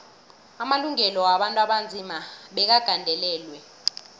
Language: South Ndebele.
amalungelo wabantu abanzima bekagandelelwe